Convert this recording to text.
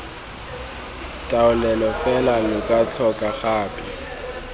taolelo fela lo tlhoka gape